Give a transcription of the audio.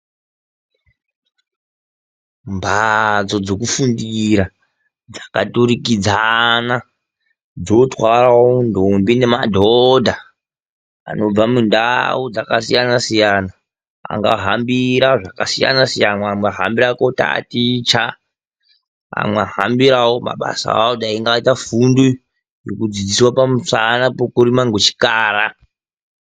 Mbatso dzokufundira dzakaturikidzana, dzotwarawo ndombi nemadhodha anobva mundau dzakasiyana siyana anga hambira zvakasiyana siyana ,amweni anenge ahambira kutaticha amweni ahambira mabasa ekurima ngechikara.